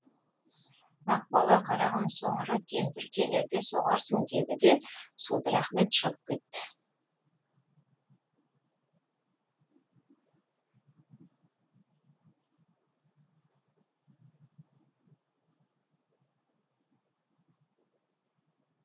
ақбала қарағым соңыра кемпір келерде соғарсың деді де судыр ахмет шығып кетті